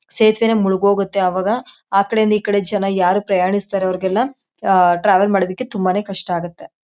ಸೇತುವೆನೇ ಮುಳುಗ್ ಹೋಗತ್ತೆ ಅವಾಗ ಆ ಕಡೆ ಇಂದ ಈ ಕಡೆ ಜನ ಯಾರ್ ಪ್ರಯಾಣಿಸ್ತಾರೋ ಅವರಿಗೆಲ್ಲ ಆ ಟ್ರಾವೆಲ್ ಮಾಡೋದಿಕ್ಕೆ ತುಂಬಾನೇ ಕಷ್ಟ ಆಗತ್ತೆ.